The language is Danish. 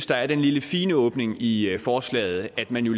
der er den lille fine åbning i forslaget at man jo